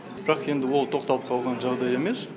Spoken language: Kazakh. бірақ енді ол тоқталып қалған жағдай емес